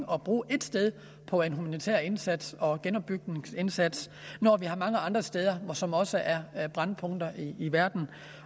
at bruge ét sted på en humanitær indsats og en genopbygningsindsats når der er mange andre steder som også er er brændpunkter i verden